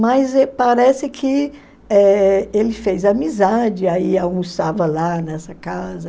Mas parece que eh ele fez amizade, aí almoçava lá nessa casa.